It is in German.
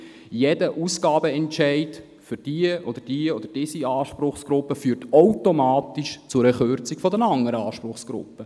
Jeder Ausgabenentscheid zugunsten dieser oder jener Anspruchsgruppe führt automatisch zu einer Kürzung bei der anderen Anspruchsgruppe.